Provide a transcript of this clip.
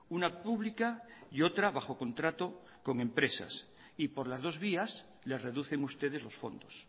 una pública y otra bajo contrato con empresas y por las dos vías le reducen ustedes los fondos